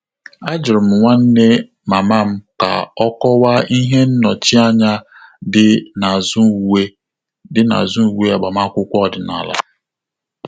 Àjụ́rụ́ m nwanne mama m kà ọ́ kọ́wàá ihe nnọchianya dị́ n’ázụ́ uwe dị́ n’ázụ́ uwe agbamakwụkwọ ọ́dị́nála.